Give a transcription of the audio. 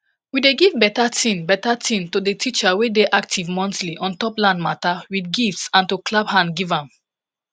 we dey giv beta tin beta tin to de teacher wey dey active monthly ontop land mata with gifts and to clap hand giv am